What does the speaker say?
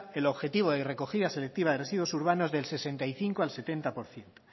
el objetivo de recogida selectiva de residuos urbanos del sesenta y cinco al setenta por ciento